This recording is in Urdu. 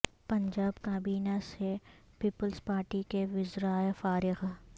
پنجاب کابینہ سے پیپلز پارٹی کے وزرا ء فارغ